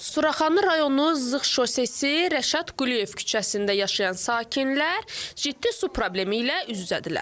Suraxanı rayonu Zığ şosesi Rəşad Quliyev küçəsində yaşayan sakinlər ciddi su problemi ilə üz-üzədirlər.